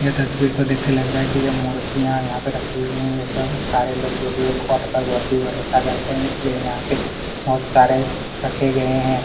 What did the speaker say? ये तस्वीर को देख के लग रहा है की ये मूर्तियां यहाँ पे रखी हुई है ये सब सारे लोग जो की यह भगवान पे बहुत ही भरोसा करते है यहाँ पे इसलिए यहाँ पे बहुत सारे रखे गए हैं।